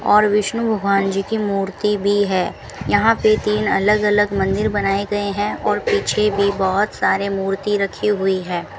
और विष्णु भगवान जी की मूर्ति भी है यहां पे तीन अलग अलग मंदिर बनाए गए हैं और पीछे भी बहुत सारे मूर्ति रखी हुई है।